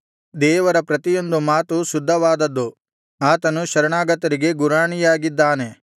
ದೇವರ ಪ್ರತಿಯೊಂದು ಮಾತು ಶುದ್ಧವಾದದ್ದು ಆತನು ಶರಣಾಗತರಿಗೆ ಗುರಾಣಿಯಾಗಿದ್ದಾನೆ